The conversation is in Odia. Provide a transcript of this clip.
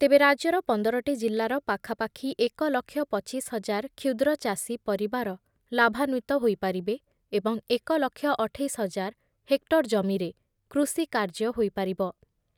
ତେବେ ରାଜ୍ୟର ପନ୍ଦରଟି ଜିଲ୍ଲାର ପାଖାପାଖି ଏକ ଲକ୍ଷ ପଚିଶ ହଜାର କ୍ଷୁଦ୍ର ଚାଷୀ ପରିବାର ଲାଭାନ୍ବିତ ହୋଇପାରିବେ ଏବଂ ଏକ ଲକ୍ଷ ଅଠେଇଶି ହଜାର ହେକ୍ଟର ଜମିରେ କୃଷି କାର୍ଯ୍ୟ ହୋଇପାରିବ।